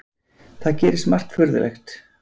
Það gerist margt furðulegt.